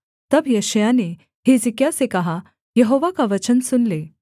तब यशायाह ने हिजकिय्याह से कहा यहोवा का वचन सुन ले